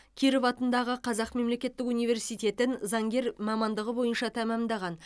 киров атындағы қазақ мемлекеттік университетін заңгер мамандығы бойынша тәмамдаған